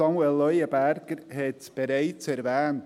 Samuel Leuenberger hat es bereits erwähnt.